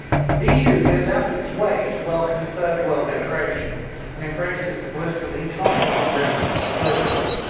The EU goes out of its way to welcome third world immigration and embraces the political and economic doctrine of globalism.